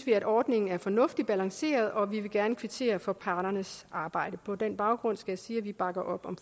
er ordningen fornuftigt balanceret og vi vil gerne kvittere for parternes arbejde på den baggrund skal jeg sige at vi bakker op om